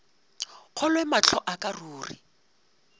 kgolwe mahlo a ka ruri